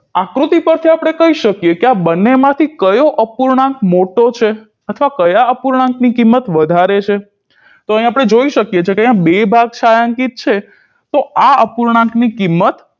આકૃતિ પરથી આપણે કહી શકીએ કે આ બંનેમાંથી કયો અપૂર્ણાંક મોટો છે અથવા કયા અપૂર્ણાંકની કિંમત વધારે છે તો આપણે જોઈ શકીએ છીએ બે ભાગ છાંયાંકીત છે તો આ અપૂર્ણાંકની કિંમત